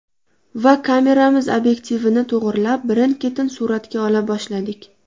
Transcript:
Va kameramiz obyektivini to‘g‘irlab, birin-ketin suratga ola boshladik.